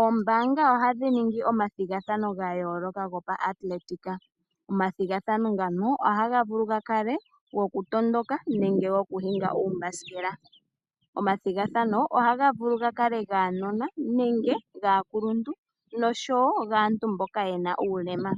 Oombaanga ohadhi ningi omathigathano gayooloka gopa athletic. Omathigathano ngano ohaga vulu gakale gokutondoka nenge goku hinga uumbasikela. Omathigathano ohaga vulu gakale gaanona nenge gaakuluntu nosho woo gaantu mboka yena uulema.